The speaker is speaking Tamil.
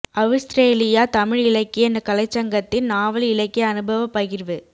அவுஸ்திரேலியா தமிழ் இலக்கிய கலைச்சங்கத்தின் நாவல் இலக்கிய அனுபவப்பகிர்வு